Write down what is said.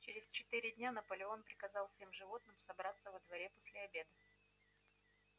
через четыре дня наполеон приказал всем животным собраться во дворе после обеда